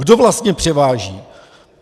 Kdo vlastně převáží!